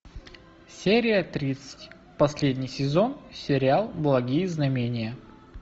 серия тридцать последний сезон сериал благие знамения